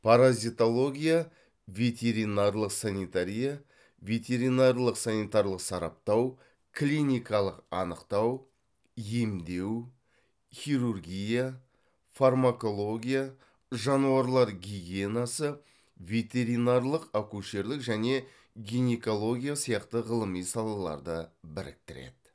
паразитология ветеринарлық санитария ветеринарлық санитарлық сараптау клиникалық анықтау емдеу хирургия фармакология жануарлар гигиенасы ветеринарлық акушерлік және гинекология сияқты ғылыми салаларды біріктіреді